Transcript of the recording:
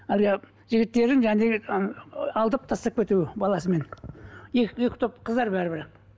әлгі жігіттердің ыыы алдап тастап кетуі баласымен екі екі топ қыздар бәрібір